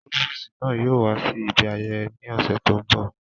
Próvòsi náa yóò wa si ibi ayẹyẹ náa ni ọsẹ to nbọ.